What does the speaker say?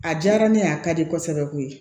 A diyara ne ye a ka di kosɛbɛ koyi